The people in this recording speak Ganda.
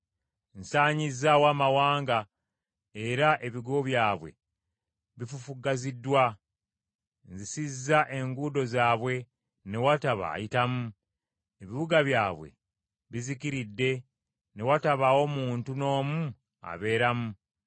“Nsanyizzaawo amawanga, era ebigo byabwe bifufuggaziddwa; nzisizza enguudo zaabwe, ne wataba ayitamu. Ebibuga byabwe bizikiridde, ne watabaawo muntu n’omu abeeramu.